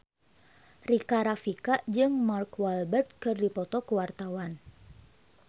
Rika Rafika jeung Mark Walberg keur dipoto ku wartawan